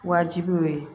Wajibi o ye